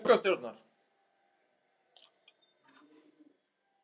Hættir sem forseti borgarstjórnar